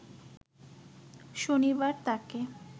শনিবার তাকে